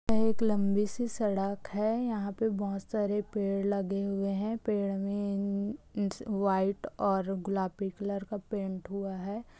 एक लंबी सी सड़क है यहाँ पे बहोत सारे पेड़ लगे हुए है पेड़ में उम्म वाइट और गुलाबी कलर का पेंट हुआ है ।